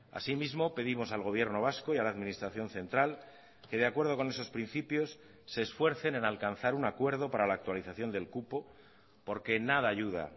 asimismo pedimos al gobierno vasco y a la administración central que de acuerdo con esos principios se esfuercen en alcanzar un acuerdo para la actualización del cupo porque en nada ayuda